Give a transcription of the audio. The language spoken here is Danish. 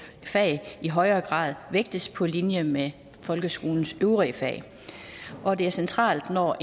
fag i højere grad vægtes på linje med folkeskolens øvrige fag og det er centralt når